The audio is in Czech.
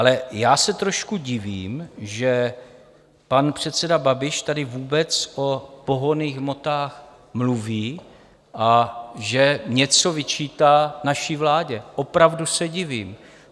Ale já se trošku divím, že pan předseda Babiš tady vůbec o pohonných hmotách mluví a že něco vyčítá naší vládě, opravdu se divím.